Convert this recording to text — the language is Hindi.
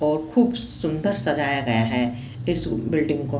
ब खूब सुंदर सजाया गया है इस बिल्डिंग को।